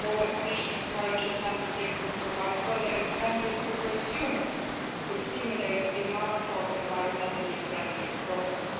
Furthermore, the Commission encourages Member States to provide further incentives to consumers to stimulate demand for environmentally friendly products.